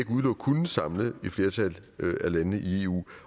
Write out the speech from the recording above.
udelukke kunne samle et flertal af landene i eu